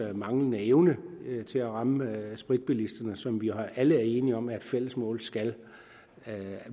manglende evne til at ramme spritbilisterne som vi alle er enige om at fælles mål skal